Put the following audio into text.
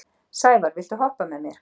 Sævarr, viltu hoppa með mér?